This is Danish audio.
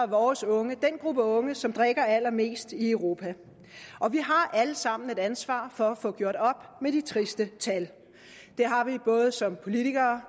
vores unge den gruppe unge som drikker allermest i europa vi har alle sammen et ansvar for at få gjort op med de triste tal det har vi både som politikere